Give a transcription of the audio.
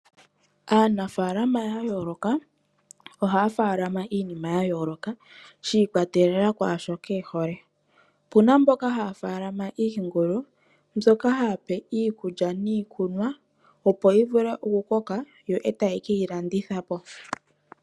Aanafalama yayooloka ohaya faalama iinima yayooloka shi ikwatelela kwaashoka ehole opena mboka haya faalama iingulu mbyoka haape iikulya niikunwa opo yivule okukoka yo ee taye keyilandithapo.